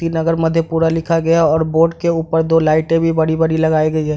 कीर्ति नगर मधेपुरा लिखा गया है और बोर्ड के ऊपर दो लाइटे भी बड़ी-बड़ी लगायी गई है।